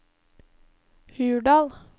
Hurdal